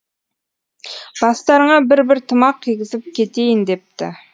бастарыңа бір бір тымақ кигізіп кетейін депті